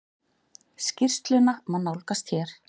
Skýrsluna má nálgast hér.